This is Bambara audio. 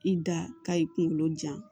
I da ka i kunkolo ja